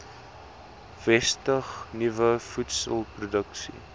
vestig nuwe voedselproduksie